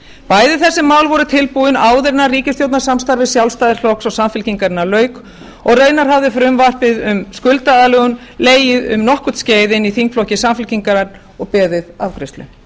bæði þessi mál voru tilbúin áður en ríkisstjórnarsamstarfi sjálfstæðisflokks og samfylkingarinnar lauk og raunar hafði frumvarpið um skuldaaðlögun legið um nokkurt skeið inni í þingflokki samfylkingar og beðið afgreiðslu